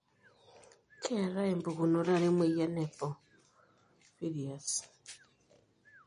keetae pukunoto are emoyian e porphyrias.